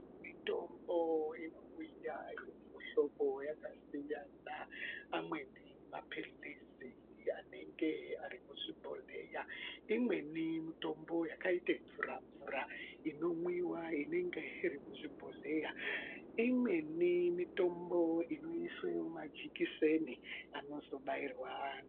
Mitombo inouya iri mumuhlobo yakasiyana, amweni maphilizi anenge ari muzvi bhohleya. Imweni mitombo yakaite mvura-mvura inomwiwa ingenge iri muzvi bhohleya. Imweni mitombo inoiswe mumajikiseni anozobairwa anhu.